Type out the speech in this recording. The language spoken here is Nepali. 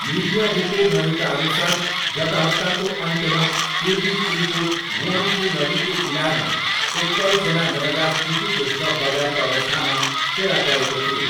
मिडिया रिपोर्टहरूका अनुसार गत हप्ताको अन्त्यमा पूर्वी चिनको गुआङ्गफू नदीको किनारमा एक्काइसजना नवजात शिशुको शव बगाएको अवस्थामा फेला परेको थियो।